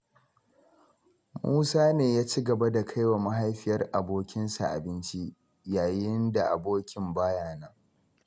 Musa ne ya ci gaba da kaiwa mahaifiyar abokinsa abinci, yayin da abokin baya nan.